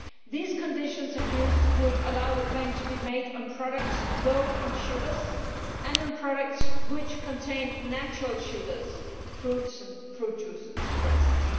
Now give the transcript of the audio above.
These conditions of use would allow the claim to be made on products low in sugars and on products which contain natural sugars fruits and fruit juices for instance.